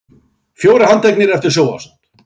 Fjórir handteknir eftir sjónvarpsþátt